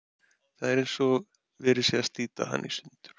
Það er eins og verið sé að slíta hana í sundur.